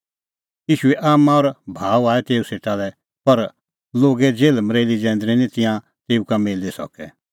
ईशूए आम्मां और भाऊ आऐ तेऊ सेटा लै पर लोगे जेल्हमरेल्ही जैंदरी निं तिंयां तेऊ का मिली सकै